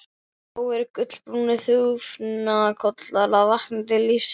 Þó eru gulbrúnir þúfnakollar að vakna til lífsins.